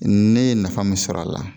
Ne ye nafa min sɔrɔ a la